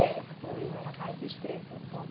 É, o rio era mais estreito um pouco.